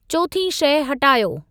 चोथीं शइ हटायो।